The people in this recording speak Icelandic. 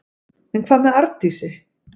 En hvað með Arndísi?